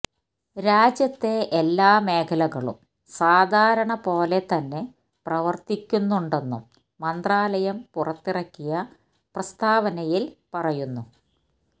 രാജ്യത്തെ എല്ലാ മേഖലകളും സാധാരണ പോലെ തന്നെ പ്രവര്ത്തിക്കുന്നുണ്ടെന്നും മന്ത്രാലയം പുറത്തിറക്കിയ പ്രസ്താവനയില് പറയുന്നു